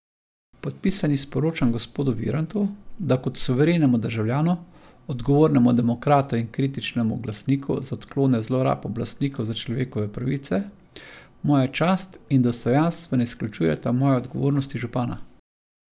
Podpisani sporočam gospodu Virantu, da kot suverenemu državljanu, odgovornemu demokratu in kritičnemu glasniku za odklone zlorab oblastnikov za človekove pravice moja čast in dostojanstvo ne izključujeta moje odgovornosti župana.